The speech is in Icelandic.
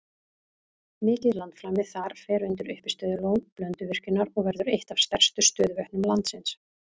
Mikið landflæmi þar fer undir uppistöðulón Blönduvirkjunar og verður eitt af stærstu stöðuvötnum landsins.